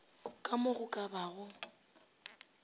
ka mo go ka bago